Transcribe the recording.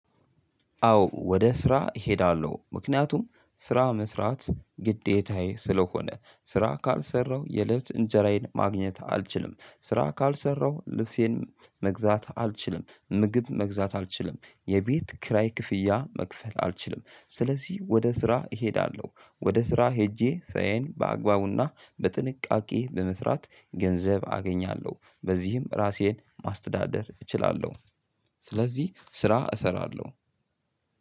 አዎ ወደ ስራ እሄዳለሁ ምክንያቱም ስራው መስራት ግዴታዬ ስለሆነ ስራ ካልሰራው የለት እንጀራዬን ማግኘት አልችልም። ስራ ካልሰራው ልብሴን መግዛት አልችልም። ምግብ መግዛት አልችልም። የቤት ክራይ ክፍያ መክፈል አልችልም። ስለዚህ ወደ ስራ እሄዳለሁ ወደ ስራ ሄጄ ስራየን በአግባቡና በጥንቃቄ በመስራት ገንዘብ አገኛለሁ በዚህም ራሴን ማስተዳደር እችላለሁ። ስለዚህ ስራ እሰራለሁ።